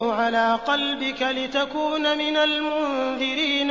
عَلَىٰ قَلْبِكَ لِتَكُونَ مِنَ الْمُنذِرِينَ